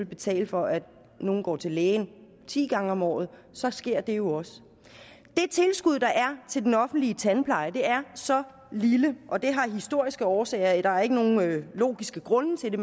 betale for at nogle går til lægen ti gange om året så sker det jo også det tilskud der er til den offentlige tandpleje er så lille og det har historiske årsager der er ikke nogen logisk grund til det